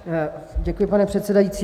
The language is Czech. Děkuji, pane předsedající.